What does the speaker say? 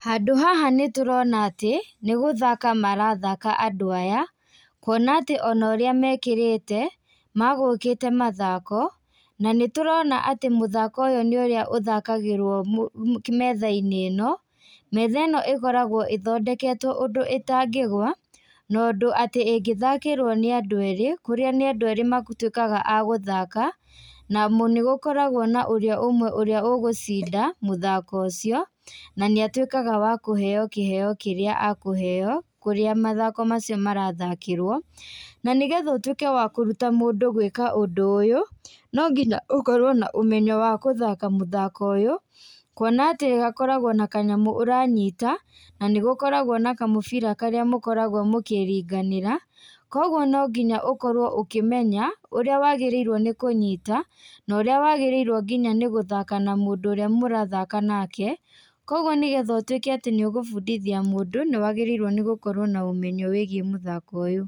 Handũ haha nĩtũrona atĩ, nĩgũthaka marathaka andũ aya, kuona atĩ onorĩa mekĩrĩte, magũkĩte mathako, nanĩtũrona atĩ mũthako ũyũ nĩũrĩa ũthakagĩrwo mo metha-inĩ ĩno, metha ĩno ĩkoragwo ĩthondeketwo ũndũ ĩtangĩgwa no ũndũ atĩ ĩngĩthakĩrwo nĩ andũ erĩ kũrĩa nĩ andũ erĩ matwĩkaga a gũthaka, namo na nĩgũkoragwo na ũrĩa ũmwe ũrĩa ũgũcinda mũthako ũcio, nanĩatwĩkaga wa kũheo kĩgeo kĩrĩa akũheo kũrĩa mathako macio marathakĩrwo, nanĩgetha ũtwĩke wa kũruta mũndũ gwĩka ũndũ ũyũ, nonginya ũkorwo na ũmenyo wa gũthaka mũthako ũyũ, kuo na atĩ hakoragwo na kanyamũ ũranyita nanĩgũkoragwo na kamũbira karĩa mũkoragwo mũkĩringanĩra, koguo nonginya ũkorwo ũkĩmenya, ũrĩa wagĩrĩirwo nĩ kũnyita norĩa wagĩriirwo nginya nĩ gũthaka na mũndũ ũrĩa mũrathaka nake, noguo nĩgetha ũtwíke atĩ nĩũgũbundithia mũndũ, nĩwagĩrĩirwo nĩ gũkorwo na ũmenyo wĩgiĩ mũthako ũyũ.